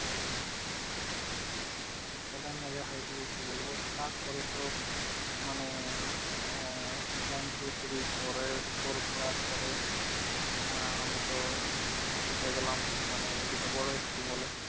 কতটা মজা হয়েছে কি বলবো! তারপরে তো মানে আহ one two three four এর four পরার পরে আহ আমি তো উঠে গেলাম মানে যেটা বড় school বলে।